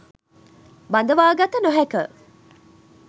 බඳවාගත නොහැක.